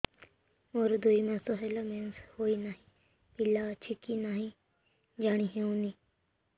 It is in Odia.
ମୋର ଦୁଇ ମାସ ହେଲା ମେନ୍ସେସ ହୋଇ ନାହିଁ ପିଲା ଅଛି କି ନାହିଁ ଜାଣି ହେଉନି